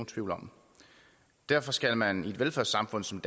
tvivl om derfor skal man i et velfærdssamfund som